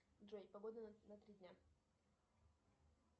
джой погода на три дня